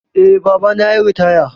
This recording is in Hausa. Eh, babana yayi ritaya